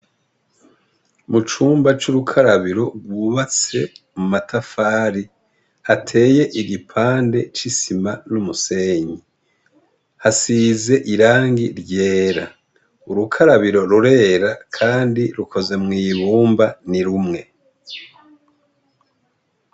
Mu cumba c'urukarabiro rwubatse mu matafari, hateye igipande c'isima n'umusenyi. Hasize irangi ryera. urukarabiro rurera kandi rukoze mw'ibumba ni rumwe.